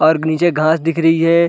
और नीचे ग-घास दिख रही हैं।